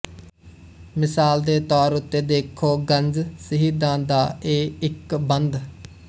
ਮਿਸਾਲ ਦੇ ਤੌਰ ਉੱਤੇ ਦੇਖੋ ਗੰਜਿਸ਼ਹੀਦਾਂ ਦਾ ਇਹ ਇੱਕ ਬੰਦ